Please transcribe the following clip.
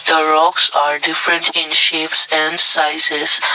the rocks are different in shapes and sizes.